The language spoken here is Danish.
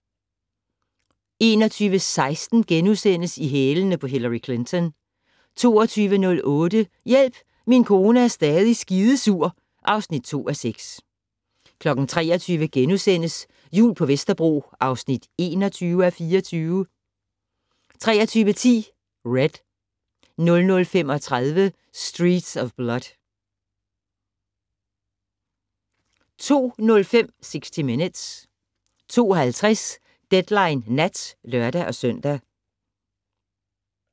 21:16: I hælene på Hillary Clinton * 22:08: Hjælp, min kone er stadig skidesur (2:6) 23:00: Jul på Vesterbro (21:24)* 23:10: Red 00:35: Streets of Blood 02:05: 60 Minutes 02:50: Deadline Nat (lør-søn)